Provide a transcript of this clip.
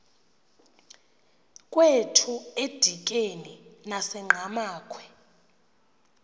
kwethu edikeni nasenqhamakhwe